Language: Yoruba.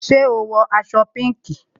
Ṣé o wọ aṣọ pinki?